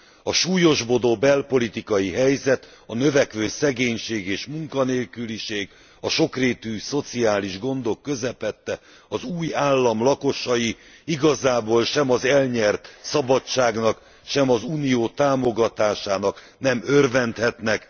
A súlyosbodó belpolitikai helyzet, a növekvő szegénység és munkanélküliség, a sokrétű szociális gondok közepette az új állam lakosai igazából sem az elnyert szabadságnak, sem az Unió támogatásának nem örvendhetnek.